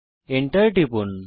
Enter টিপুন